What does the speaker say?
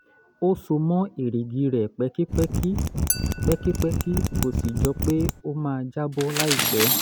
ó so mọ́ erìgì rẹ̀ pẹ́kípẹ́kí pẹ́kípẹ́kí kò sì jọ pé ó máa jábọ́ láìpẹ́